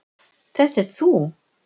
Þetta ert þú.